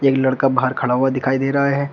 एक लड़का बाहर खड़ा हुआ दिखाई दे रहा है।